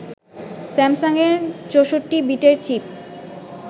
স্যামসাংয়ের ৬৪-বিটের চিপ